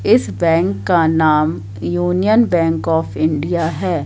इस बैंक का नाम यूनियन बैंक आफ इंडिया है।